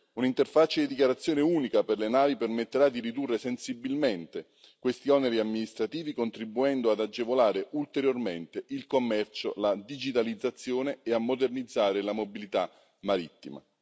Un'interfaccia di dichiarazione unica per le navi permetterà di ridurre sensibilmente questi oneri amministrativi, contribuendo ad agevolare ulteriormente il commercio, la digitalizzazione e a modernizzare la mobilità marittima.